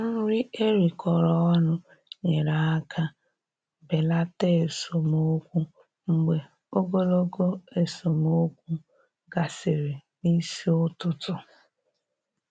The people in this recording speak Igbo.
Nri erikọrọ ọnụ nyere aka belata esemokwu mgbe ogologo esemokwu gasịrị n'isi ụtụtụ.